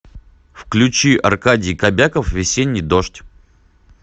включи аркадий кобяков весенний дождь